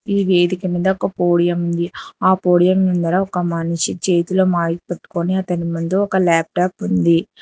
ఈ వేదిక మీద ఒక పోడియం ఆ పోడియం ముందర ఒక మనిషి చేతిలో మైక్ పెట్టుకొని అతని ముందు ఒక లాప్టాప్ ఉంది.